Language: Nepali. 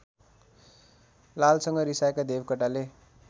लालसँग रिसाएका देवकोटाले